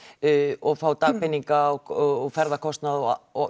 og fá dagpeninga og ferðakostnað og og